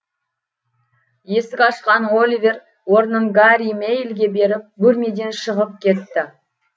есік ашқан оливер орнын гарри мэйлиге беріп бөлмеден шығып кетті